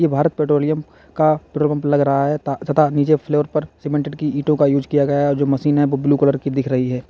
Bharat petroleum का petrol pump लग रहा है ता तथा नीचे फ्लोर पर सीमेंटेड की ईटों का यूज़ किया गया और जो मशीन है वो ब्लू कलर की दिख रही है।